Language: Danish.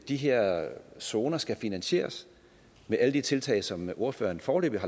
de her zoner skal finansieres med alle de tiltag som ordføreren foreløbig